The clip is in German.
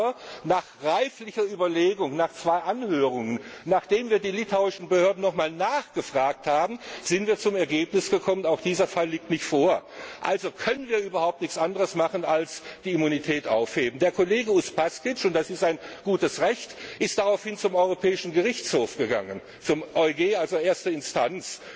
Aber nach reiflicher Überlegung nach zwei Anhörungen, nachdem wir bei den litauischen Behörden nochmals nachgefragt haben sind wir zu dem Ergebnis gekommen, dass auch dieser Fall nicht vorliegt. Also können wir überhaupt nichts anderes machen, als die Immunität aufheben. Der Kollege Uspaskich und das ist sein gutes Recht ist daraufhin zum Europäischen Gerichtshof gegangen, zum Gericht erster Instanz,